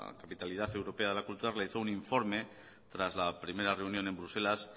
capitalidad europea de la cultura realizó un informe tras la primera reunión en bruselas